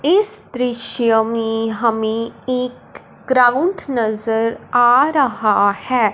इस दृश्य में हमें एक ग्राउंड नजर आ रहा है।